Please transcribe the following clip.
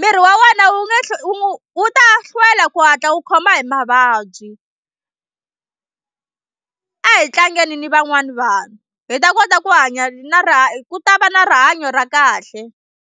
miri wa wena wu nge wu wu ta hlwela ku hatla wu khoma hi mavabyi. A hi tlangeni ni van'wana vanhu hi ta kota ku hanya na rihanyo ku ta va na rihanyo ra kahle.